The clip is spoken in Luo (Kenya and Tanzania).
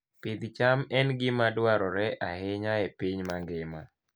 Pidh cham en gima dwarore ahinya e piny mangima.